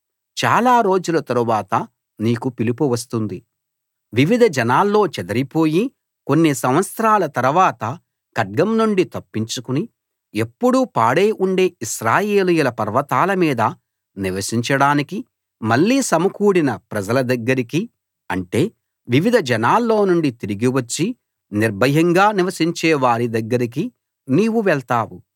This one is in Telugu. చాల రోజుల తరువాత నీకు పిలుపు వస్తుంది వివిధ జనాల్లో చెదరిపోయి కొన్ని సంవత్సరాల తరవాత ఖడ్గం నుండి తప్పించుకుని ఎప్పుడూ పాడై ఉండే ఇశ్రాయేలీయుల పర్వతాల మీద నివసించడానికి మళ్ళీ సమకూడిన ప్రజల దగ్గరికి అంటే వివిధ జనాల్లోనుండి తిరిగి వచ్చి నిర్భయంగా నివసించే వారి దగ్గరికి నీవు వెళ్తావు